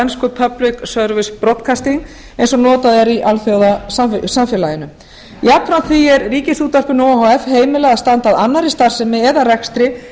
ensku public service broadcasting eins og notað er í alþjóðasamfélaginu jafnframt því er ríkisútvarpinu o h f heimilað að standa að annarri starfsemi eða rekstri